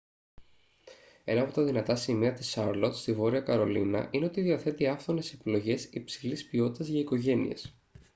ένα από τα δυνατά σημεία της σάρλοτ στη βόρεια καρολίνα είναι ότι διαθέτει άφθονες επιλογές υψηλής ποιότητας για οικογένειες